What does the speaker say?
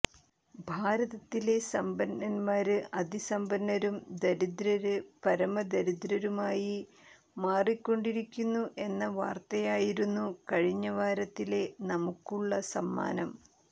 ഭാരതത്തിലെ സമ്പന്നന്മാര് അതിസമ്പന്നരും ദരിദ്രര് പരമദരിദ്രരുമായി മാറിക്കൊണ്ടിരിക്കുന്നു എന്ന വാര്ത്തയായിരുന്നു കഴിഞ്ഞ വാരത്തിലെ നമുക്കുള്ള സമ്മാനം